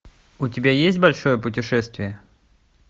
у тебя есть большое путешествие